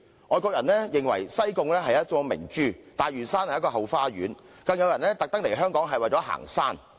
外國人認為西貢是一顆明珠，大嶼山是一個後花園，更有人專門來港行山。